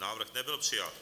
Návrh nebyl přijat.